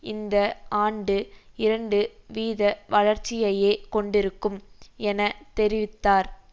இந்த ஆண்டு இரண்டு வீத வளர்ச்சியையே கொண்டிருக்கும் என தெரிவித்தார்